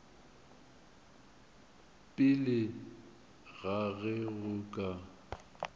pele ga ge go ka